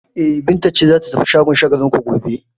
E, Binta ce za ta tafi shagon Shagalinku gobe.